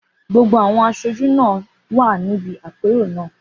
Gbogbo àwọn aṣojú náà kò dára níbi àpérò náà.